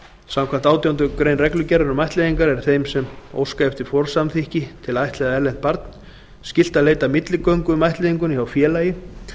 samkvæmt átjándu grein reglugerðar um ættleiðingar er þeim sem óska eftir forsamþykki til að ættleiða erlent barn skylt að leita milligöngu um ættleiðinguna hjá félagi